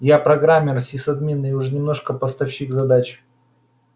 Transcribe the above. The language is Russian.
я программер сисадмин и уже немножко постановщик задач